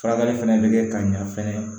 Furakɛli fɛnɛ bɛ kɛ ka ɲa fɛnɛ